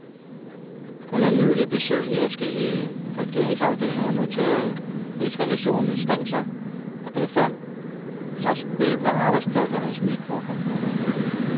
Under nylige besøg i adskillige regeringsafdelinger noterede rigsrevisionens stab sig, at der befandt sig spil på arbejdspladsens mikrocomputere.